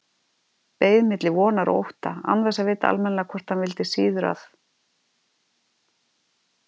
Beið milli vonar og ótta, án þess að vita almennilega hvort hann vildi síður að